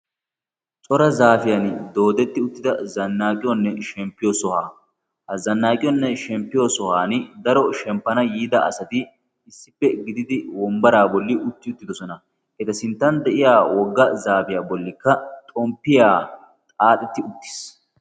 cora zaapiyaan dooddetti uttida zanaaqqiyoonne shemppiyoo sohuwaa. ha zannaaqiyoonne shemppiyoo sohuwaan shemppana yiida asati issippe gididi wombbaraa boli utti uttidoosona. eta sinttan de'iyaa wogga zaapiyaa bollikka xomppiyaa xaaxxetti uttiis.